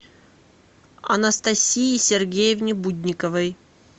анастасии сергеевне будниковой